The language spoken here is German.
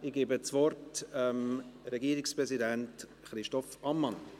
Ich gebe das Wort dem Regierungspräsidenten Christoph Ammann.